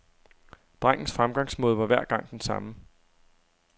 Drengens fremgangsmåde var hver gang den samme.